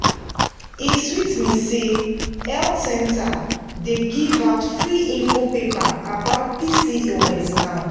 e sweet me say health center dey give out free info paper about pcos now.